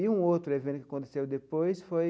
E um outro evento que aconteceu depois foi